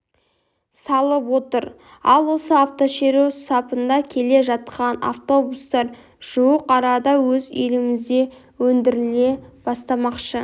салып отыр ал осы автошеру сапында келе жатқан автобустар жуық арада өз елімізде өндіріле бастамақшы